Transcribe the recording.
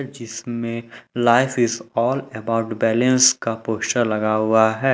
जिसमे life is all about balance का poster लगा हुआ है।